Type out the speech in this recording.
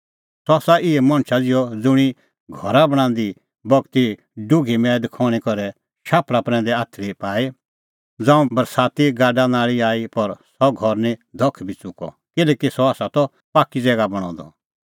सह आसा इहै मणछा ज़िहअ ज़ुंणी घरा बणांदी बगती डुघी मैद खण्हीं करै शाफल़ा प्रैंदै आथरी पाई ज़ांऊं बरसाती गाडानाल़ी आई पर सह घर निं धख बी च़ुकअ किल्हैकि सह त पाक्की ज़ैगा बणअ द